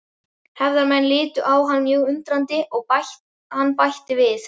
Hefðarmenn litu á hann mjög undrandi og hann bætti við